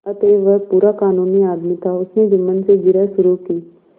अतएव वह पूरा कानूनी आदमी था उसने जुम्मन से जिरह शुरू की